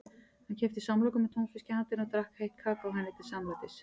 Hann keypti samloku með túnfiski handa henni og drakk heitt kakó henni til samlætis.